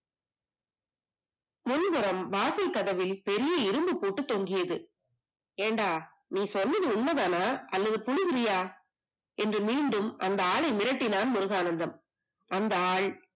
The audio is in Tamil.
முன்புறம் வாசல் கதவில் பெரிய இரும்பு போட்டு தொங்கியது ஏன்டா நீ சொன்னது உண்மைதானா அல்லது குழு குறியா என்று மீண்டும் அந்த ஆளை மிரட்டினால் முருகானந்தம் அந்த ஆள்